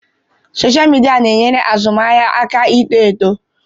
Sọsha mịdia na-enyere azụmaahịa aka ịto eto.